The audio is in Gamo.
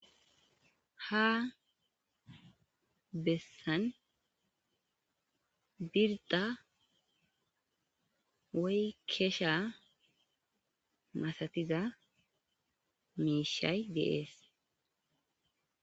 Ha bessan biridda woy keshsha masatiza mishshay de'essi.